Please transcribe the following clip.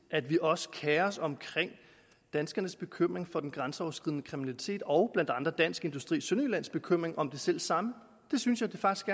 at vi også kerer os om danskernes bekymring for den grænseoverskridende kriminalitet og blandt andre dansk industri sønderjyllands bekymring om det selv samme det synes jeg faktisk